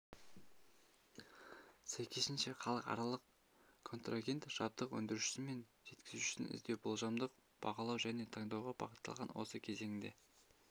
сәйкесінше халықаралық контрагент жабдық өндірушісі мен жеткізушісін іздеу болжамдық бағалау және таңдауға бағытталған осы кезеңінде